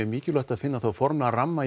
mikilvægt að finna form og ramma